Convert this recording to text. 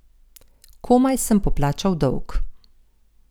Komaj sem poplačal dolg.